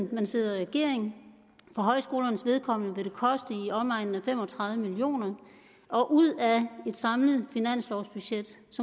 det man sidder i regering for højskolernes vedkommende vil det koste i omegnen af fem og tredive million kr og ud af et samlet finanslovsbudget